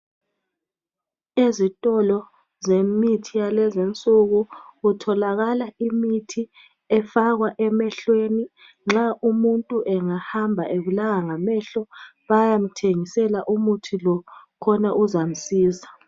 Ezitolo zemithi yalezinsuku kutholakala imithi efakwa emehlweni. Nxa umuntu engahamba ebulawa ngamehlo bayamthengisela umuthi lo khona uzamsiza.